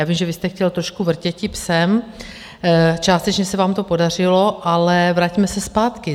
Já vím, že vy jste chtěl trošku vrtěti psem, částečně se vám to podařilo, ale vraťme se zpátky.